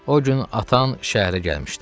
O gün atan şəhərə gəlmişdi.